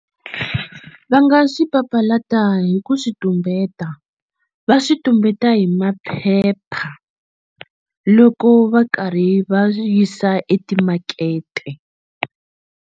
Va nga swi papalata hi ku swi tumbeta va swi tumbeta hi maphepha loko va karhi va yisa etimakete.